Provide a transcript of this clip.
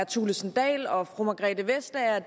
thulesen dahl og fru margrethe vestager